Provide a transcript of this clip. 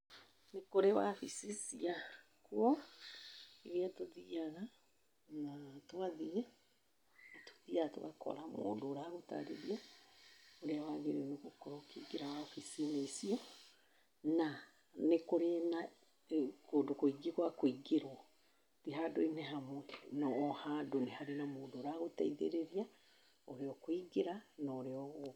Nĩ kũrĩ wabici cia kuo irĩa tũthiaga na twathiĩ, tũthiaga tũgakora mũndũ ũragũtarĩria, ũrĩa wagĩrĩirwo gũkorwo ũkĩingĩra wabici-inĩ ici, na nĩ kũrĩ na kũndũ kũingĩ gwa kũingĩrwo ti handũ-inĩ hamwe. Na o handũ nĩ harĩ na mũndũ ũragũteithĩrĩria ũrĩa ũkũingĩra na ũrĩa ũgwĩka.